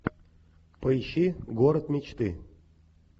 поищи город мечты